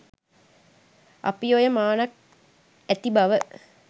අපි ඔය මානක් ඇති බව